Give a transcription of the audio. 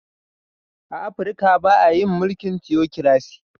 A Afrika ba a yin mulkin " Theocracy".